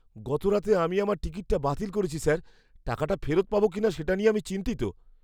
গতরাতে আমি আমার টিকিটটা বাতিল করেছি, স্যার। টাকাটা ফেরত পাবো কিনা সেটা নিয়ে আমি চিন্তিত।